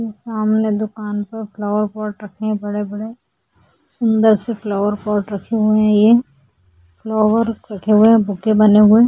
सामने दुकान पर फ्लावर पॉट रखे है बड़े-बड़े सुंदर सी फ्लावर पॉट रखी हुई है ये फ्लावर की बुके बने हुए है।